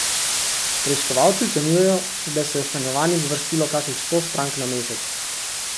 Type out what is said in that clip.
Preiskovalci ocenjujejo, da se je v stanovanjih zvrstilo kakih sto strank na mesec.